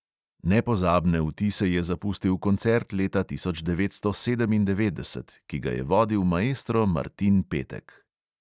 Nepozabne vtise je zapustil koncert leta devetnajststo sedemindevetdeset, ki ga je vodil maestro martin petek.